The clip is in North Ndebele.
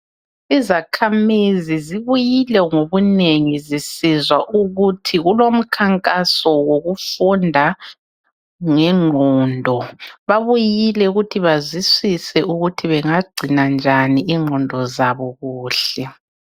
Izakhamizi zibuyile ngobunengi zisizwa ukuthi kulomkhankaso wokufunda ngenqondo. Babuyile ukuthi bazwisise ukuthi bengagcina njani inqondo zabo kuhle.